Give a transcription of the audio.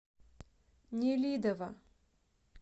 нелидово